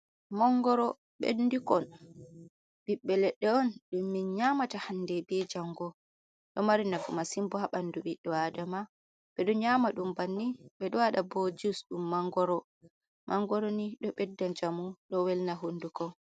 Mangoro bendukon ɓiɓɓe leɗɗe on ɗum min nyamata hande be jango, ɗo mari nafu masin ha ɓandu ɓiddo adama. Ɓe ɗo nyama ɗum banni, ɓe ɗo wada bo jus dum mangoro, mangoro ni do ɓedda jamu do welna hunduko.